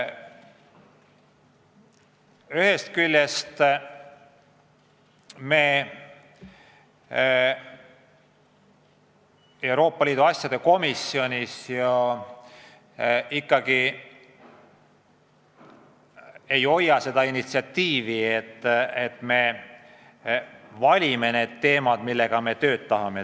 Ühest küljest me Euroopa Liidu asjade komisjonis siiski ei vali teemasid, mille kallal me tööd teeme.